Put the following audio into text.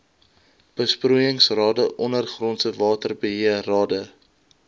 besproeiingsrade ondergrondse waterbeheerrade